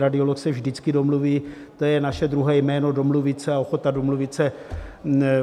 Radiolog se vždycky domluví, to je naše druhé jméno - domluvit se a ochota domluvit se.